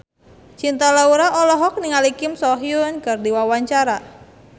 Cinta Laura olohok ningali Kim So Hyun keur diwawancara